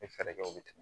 N bɛ fɛɛrɛ kɛ u bɛ tɛmɛ